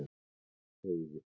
Heiði